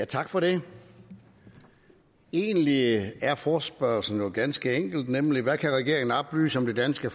tak for det egentlig er forespørgslen jo ganske enkel nemlig hvad kan regeringen oplyse om det danske